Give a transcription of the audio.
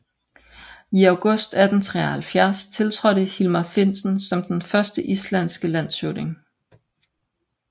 I august 1873 tiltrådte Hilmar Finsen som den første islandske landshøvding